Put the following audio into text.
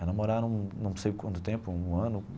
Aí namoraram não sei quanto tempo, um ano.